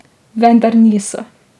Vendar niso.